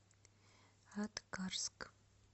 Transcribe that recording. аткарск